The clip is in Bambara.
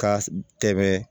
Ka tɛmɛ